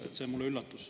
See on mulle üllatus.